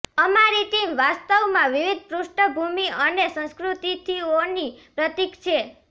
અમારી ટીમ વાસ્તવમાં વિવિધ પૃષ્ઠભૂમિ અને સંસ્કૃતિથીઓની પ્રતિક છે